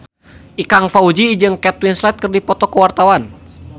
Ikang Fawzi jeung Kate Winslet keur dipoto ku wartawan